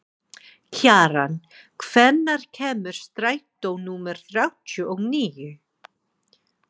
Kjaran, hvenær kemur strætó númer þrjátíu og níu?